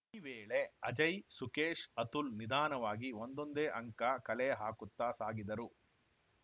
ಈ ವೇಳೆ ಅಜಯ್‌ ಸುಖೇಶ್‌ ಅತುಲ್‌ ನಿಧಾನವಾಗಿ ಒಂದೊಂದೇ ಅಂಕ ಕಲೆ ಹಾಕುತ್ತಾ ಸಾಗಿದರು